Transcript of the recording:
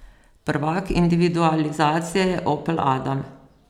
Prvak individualizacije je opel adam.